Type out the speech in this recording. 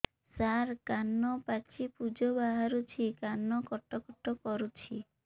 ସାର କାନ ପାଚି ପୂଜ ବାହାରୁଛି କାନ କଟ କଟ କରୁଛି